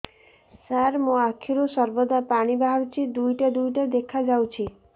ସାର ମୋ ଆଖିରୁ ସର୍ବଦା ପାଣି ବାହାରୁଛି ଦୁଇଟା ଦୁଇଟା ଦେଖାଯାଉଛି